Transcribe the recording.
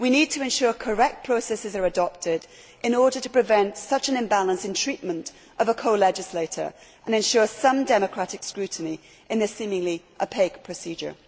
We need to ensure that correct processes are adopted in order to prevent such an imbalance in treatment of a co legislator and ensure some democratic scrutiny in this seemingly opaque procedure.